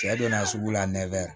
Cɛ donna sugu la nɛfɛ